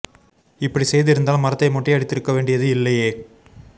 இப்படி செய்து இருந்தால் மரத்தை மொட்டை அடித்திருக்கவேண்டியது இல்லையே